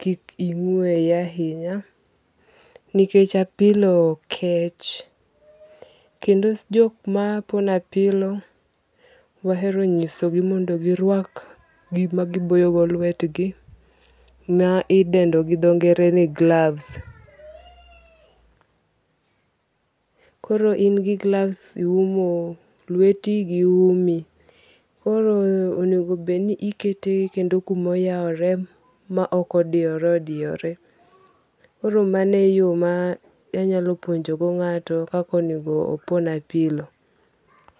kik ing'weye ahinya nikech apilo kech kendo jok ma pono apilo wahero nyisogi mondo girwak gima giboyo go lwetgi ma idendo gi dho nge're ni gloves, koro in gi gloves iumo lweti gi umi koro onego bed ni ikete kuma oyawre ok kuma odiyore odiyore koro mano e yo ma anyalo puonjogo nga'to kaka onigo opon apilo